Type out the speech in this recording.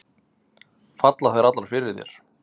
Falla þær allar fyrir þér?